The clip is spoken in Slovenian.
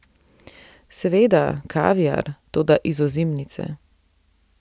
Seveda, kaviar, toda iz ozimice.